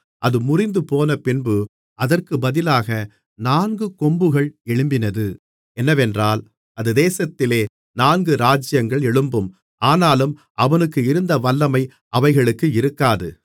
அது முறிந்துபோனபின்பு அதற்குப் பதிலாக நான்கு கொம்புகள் எழும்பினது என்னவென்றால் அந்த தேசத்திலே நான்கு ராஜ்ஜியங்கள் எழும்பும் ஆனாலும் அவனுக்கு இருந்த வல்லமை அவைகளுக்கு இருக்காது